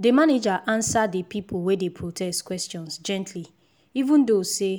the manager answer the the people wey dey protest questions gently even though say